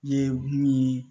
Ne ye min